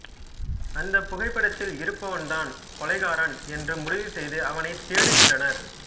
அந்தப் புகைப்படத்தில் இருப்பவன்தான் கொலைகாரன் என்று முடிவுசெய்து அவனைத் தேடுகின்றனர்